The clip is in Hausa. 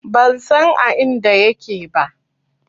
Ban san a inda yake ba.